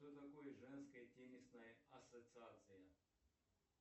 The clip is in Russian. что такое женская теннисная ассоциация